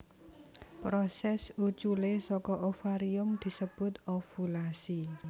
Prosès uculé saka ovarium disebut ovulasi